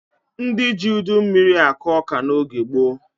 Ndị ji udu mmiri akụ ọka n'oge gboo.